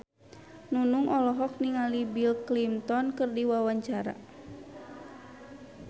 Nunung olohok ningali Bill Clinton keur diwawancara